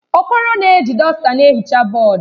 Okoro na-eji dọsta na-ehicha bọọdụ.